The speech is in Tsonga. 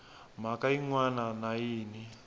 mhaka yin wana na yin